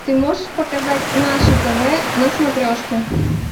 ты можешь показать наше тв на смотрешке